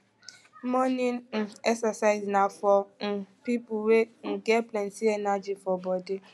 morning um exercise na for um pipo wey um get plenty energy full for body